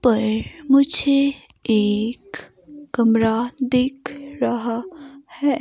पर मुझे एक कमरा दिख रहा है।